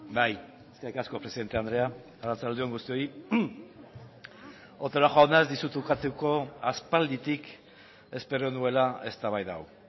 bai eskerrik asko presidente andrea arratsalde on guztioi otero jauna ez dizut ukatuko aspalditik espero nuela eztabaida hau